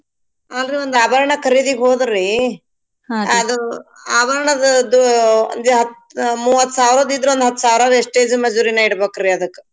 ಅಲ್ರೀ ಒಂದ್ ಆಬರ್ಣಾ ಖರೀದಿಗ್ ಹೋದ್ರಿ ಆಬರ್ಣಾದ್ದು ಒಂದ್ ಹತ್ತ ಮೂವತ್ಸಾವ್ರದಿದ್ರಾ ಒಂದ್ಹಸ್ತಾವ್ರಾ wastage ಮಜೂರೀನ ಇಡ್ಬೇಕ್ರಿ ಅದಕ್.